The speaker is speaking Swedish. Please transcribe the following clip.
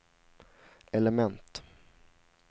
element